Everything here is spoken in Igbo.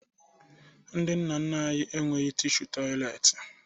Ndị nna nna anyị enweghi tishu tọyịleetị